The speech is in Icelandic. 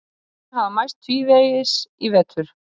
Liðin hafa mæst tvívegis í vetur